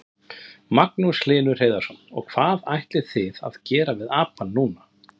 Magnús Hlynur Hreiðarsson: Og hvað ætlið þið að gera við apann núna?